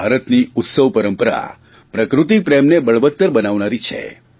ભારતની ઉત્સવ પરંપરા પ્રકૃતિપ્રેમને બળવતર બનાવનારી છે